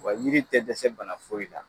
Wa yiri tɛ dɛsɛ bana foyi la.